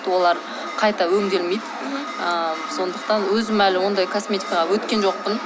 олар қайта өңделмейді ы сондықтан өзім әлі ондай косметикаға өткен жоқпын